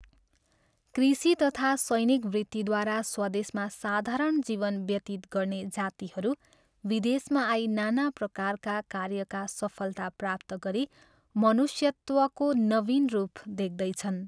कृषि तथा सैनिक वृत्तिद्वारा स्वदेशमा साधारण जीवन व्यतीत गर्ने जातिहरू विदेशमा आई नाना प्रकारका कार्यका सफलता प्राप्त गरी मनुष्यत्वको नवीन रूप देख्दैछन्।